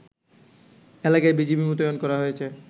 এলাকায় বিজিবি মোতায়েন করা হয়েছে